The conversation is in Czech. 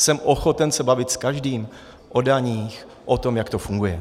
Jsem ochoten se bavit s každým o daních, o tom, jak to funguje.